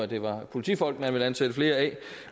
det var politifolk man ville ansætte flere af